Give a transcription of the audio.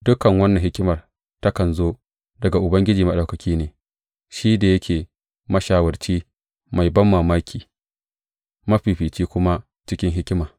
Dukan wannan hikimar takan zo daga Ubangiji Maɗaukaki ne, shi da yake mashawarci mai banmamaki, mafifici kuma cikin hikima.